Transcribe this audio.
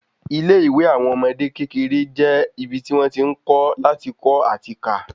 Ilé ìwé àwọn ọmọdé kékeré je ibi ti wọ́n ti n kọ́ lati kọ ati ká